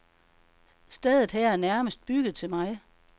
Stedet her er nærmest bygget til mig.